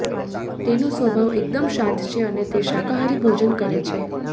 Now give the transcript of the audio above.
તેનો સ્વભાવ એકદમ શાંત છે અને તે શાકાહારી ભોજન કરે છે